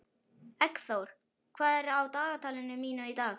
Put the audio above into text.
Eggþór, hvað er á dagatalinu mínu í dag?